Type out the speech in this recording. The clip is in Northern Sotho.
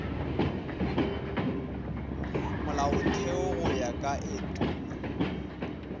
molaotheo go ya ka etulo